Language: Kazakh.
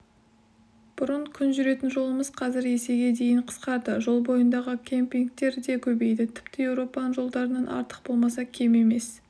бұрын күн жүретін жолымыз қазір есеге дейін қысқарды жол бойындағы кемпингтер де көбейді тіпті еуропаның жолдарынан артық болмаса кем емес